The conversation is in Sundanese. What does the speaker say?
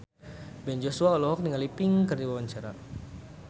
Ben Joshua olohok ningali Pink keur diwawancara